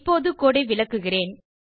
இப்போது கோடு ஐ விளக்குகிறேன்